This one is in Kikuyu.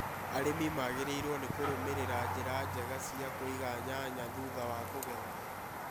Arĩmi magĩrĩirũo nĩ Kũrũmĩrĩra njĩra njega cia kũiga nyanya thutha wa kũgetha.